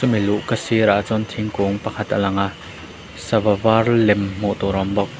hemi luhka sir ah chuan thingkung pakhat a lang a sava var lem hmuh tur a awm bawk.